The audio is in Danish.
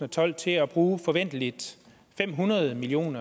tolv til at bruge forventeligt fem hundrede million